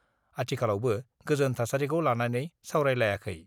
आथिखालावबो गोजोन थासारिखौ लानानै सावरायलायाखै I